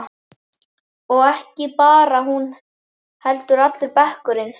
Og ekki bara hún heldur allur bekkurinn.